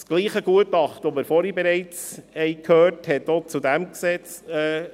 Dasselbe Gutachten, von dem wir bereits vorhin gehört haben, äusserte sich auch zu diesem Gesetz.